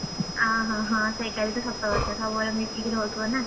ଆ ହଁ ହଁ ହଁ ସେଇଟା ବି ତ ସତ କଥା ସବୁବେଳେ ମିଶିକି ରହୁଥିବ ନାଁ?